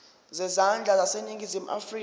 zezandla zaseningizimu afrika